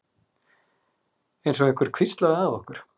Einsog einhver hvíslaði að okkur.